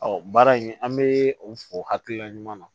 baara in an bɛ o hakilina ɲuman na